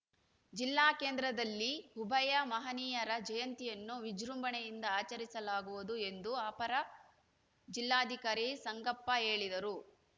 ಜಿಲ್ಲಾ ಕೇಂದ್ರದಲ್ಲಿ ಉಭಯ ಮಹನೀಯರ ಜಯಂತಿಯನ್ನು ವಿಜೃಂಭಣೆಯಿಂದ ಆಚರಿಸಲಾಗುವುದು ಎಂದು ಅಪರ ಜಿಲ್ಲಾಧಿಕಾರಿ ಸಂಗಪ್ಪ ಹೇಳಿದರು